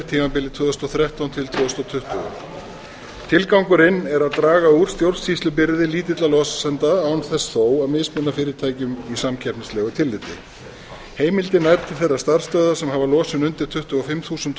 tímabilið tvö þúsund og þrettán til tvö þúsund tuttugu tilgangurinn er að draga úr stjórnsýslubyrði lítilla losenda án þess þó að mismuna fyrirtækjum í samkeppnislegu tilliti heimildin nær til þeirra starfsstöðva sem hafa losun undir tuttugu og fimm þúsund